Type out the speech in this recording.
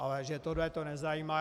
Ale že toto je nezajímá...